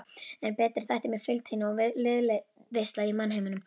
En betri þætti mér fylgd þín og liðveisla í mannheimum.